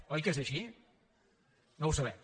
oi que és així no ho sabem